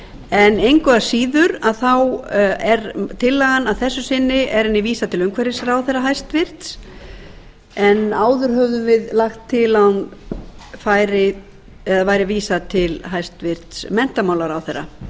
en engu að síður þá er tillögunni að þessu vísað til umhverfisráðherra hæstvirtur en áður höfðum við lagt til að henni væri vísað til hæstvirts menntamálaráðherra